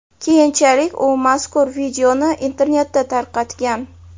Keyinchalik u mazkur videoni internetda tarqatgan.